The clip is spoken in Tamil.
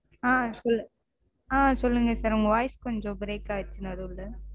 ஆஹ் சொல்லு சொல்லுங்க sir. உங்க voice கொஞ்சம் break ஆயிடிச்சு நடுவுல